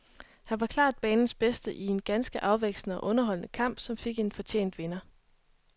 Han var klart banens bedste i en ganske afvekslende og underholdende kamp, som fik en fortjent vinder.